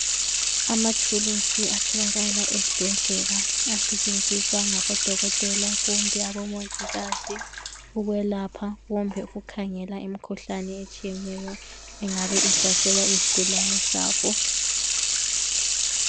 Amathuluzi atholakala esibhedlela asetshenziswa ngabo dokotela kumbe abomongikazi ukwelapha kumbe ukukhangela imikhuhlane etshiyeneyo engabe ihlasela izigulane zabo.